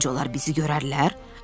Səncə onlar bizi görərlər?